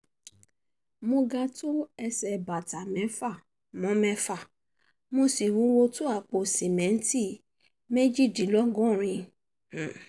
mo ga tó ẹsẹ̀ bàtà mẹ́fà mo mẹ́fà mo sì wúwo tó àpò sìmẹ́ǹtì méjìdínlọ́gọ́rùn-ún